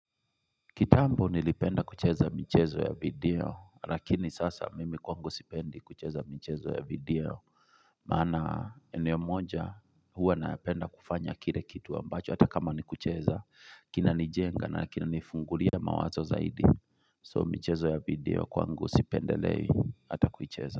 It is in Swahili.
Kitambo nilipenda kucheza michezo ya video lakini sasa mimi kwangu sipendi kucheza michezo ya video Maana eneo moja huwa napenda kufanya kile kitu ambacho hata kama ni kucheza kina nijenga na kina nifungulia mawazo zaidi so mchezo ya video kwangu sipendelei hata kuicheza.